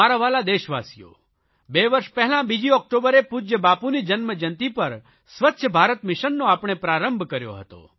મારા વ્હાલા દેશવાસીઓ બે વર્ષ પહેલા બીજી ઓકટોબરે પૂજય બાપુની જન્મજયંતી પર સ્વચ્છ ભારત મિશનનો આપણે પ્રારંભ કર્યો હતો